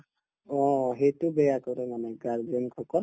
অ সেইটো বেয়া কৰে মানে guardian সকল